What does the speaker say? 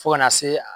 Fo ka na se